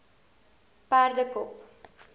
perdekop